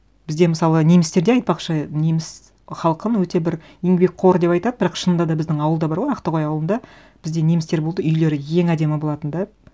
бізде мысалы немістерде айтпақшы неміс халқын өте бір еңбекқор деп айтады бірақ шынында да біздің ауылда бар ғой ақтоғай ауылында бізде немістер болды үйлері ең әдемі болатын да